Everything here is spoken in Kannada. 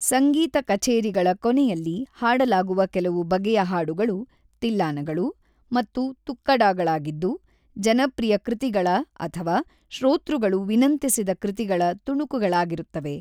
ಸಂಗೀತ ಕಛೇರಿಗಳ ಕೊನೆಯಲ್ಲಿ ಹಾಡಲಾಗುವ ಕೆಲವು ಬಗೆಯ ಹಾಡುಗಳು ತಿಲ್ಲಾನಗಳು ಮತ್ತು ತುಕ್ಕಡಾಗಳಾಗಿದ್ದು - ಜನಪ್ರಿಯ ಕೃತಿಗಳ ಅಥವಾ ಶ್ರೋತೃಗಳು ವಿನಂತಿಸಿದ ಕೃತಿಗಳ ತುಣುಕುಗಳಾಗಿರುತ್ತವೆ.